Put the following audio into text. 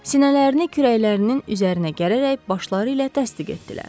Sinələrini kürəklərinin üzərinə gələrək başları ilə təsdiq etdilər.